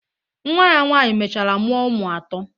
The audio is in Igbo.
Nwa ya nwaanyị mechara mụọ ụmụ atọ.